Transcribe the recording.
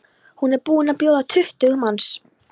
Hún er búin að bjóða tuttugu manns.